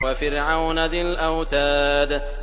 وَفِرْعَوْنَ ذِي الْأَوْتَادِ